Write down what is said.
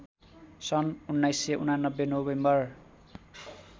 सन् १९८९ नोभेम्बर